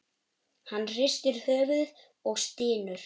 Hann hristir höfuðið og stynur.